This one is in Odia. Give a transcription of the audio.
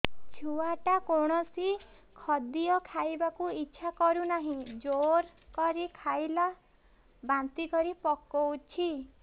ଛୁଆ ଟା କୌଣସି ଖଦୀୟ ଖାଇବାକୁ ଈଛା କରୁନାହିଁ ଜୋର କରି ଖାଇଲା ବାନ୍ତି କରି ପକଉଛି